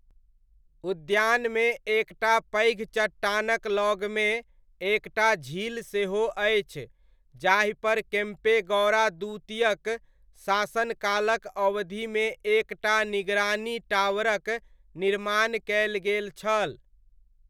उद्यानमे एक टा पैघ चट्टानक लगमे एक टा झील सेहो अछि जाहिपर केम्पेगौड़ा द्वितीयक शासनकालक अवधिमे एक टा निगरानी टावरक निर्माण कयल गेल छल।